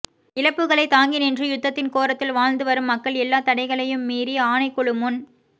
இழப்புக்களை தாங்கி நின்று யுத்தத்தின் கோரத்துள் வாழ்ந்து வரும் மக்கள் எல்லாத் தடைகளையும் மீறி ஆணைக்குழுமுன்